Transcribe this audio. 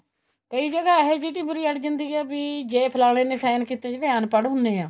ਕਈ ਜਗ੍ਹਾ ਇਹ ਜੀ ਟਿੱਵਰੀ ਅੜ ਜਾਂਦੀ ਹੈ ਵੀ ਜ਼ੇ ਫਲਾਣੇ ਨੇ sign ਕੀਤੇ ਜਿਵੇਂ ਅਨਪੜ ਹੁੰਦੇ ਏ